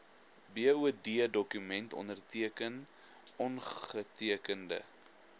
boddokument onderteken ongetekende